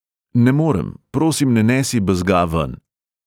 Ne morem, prosim ne nesi bezga ven.